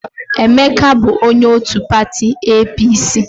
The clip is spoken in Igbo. Emeka bụ onye òtù pati EePiiSii.